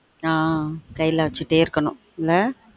on கைல வச்சுட்டே இருக்க்னும் என்ன